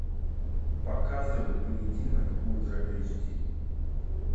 показывай поединок ультра эйч ди